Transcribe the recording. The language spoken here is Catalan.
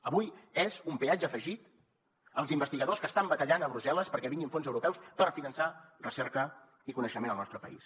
avui és un peatge afegit als investigadors que estan batallant a brussel·les perquè vinguin fons europeus per finançar recerca i coneixement al nostre país